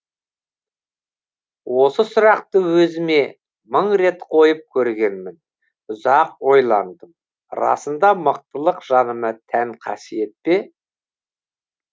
осы сұрақты өзіме мың рет қойып көргенмін ұзақ ойландым расында мықтылық жаныма тән қасиет пе